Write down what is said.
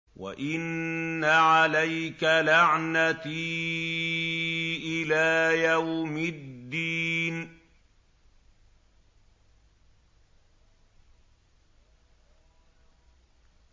وَإِنَّ عَلَيْكَ لَعْنَتِي إِلَىٰ يَوْمِ الدِّينِ